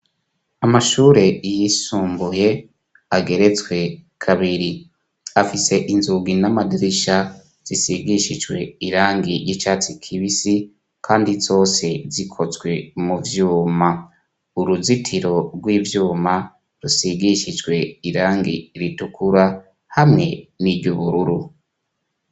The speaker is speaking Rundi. Amashure yisumbuye ageretswe kabiri afise inzugi n'amadirisha zisigishijwe irangi y'icatsi kibisi kandi zose zikotswe muvyuma. Uruzitiro rw'ivyuma rusigishijwe irangi ritukura hamwe n'iryubururu.